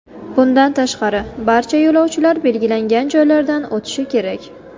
Bundan tashqari, barcha yo‘lovchilar belgilangan joylardan o‘tishi kerak.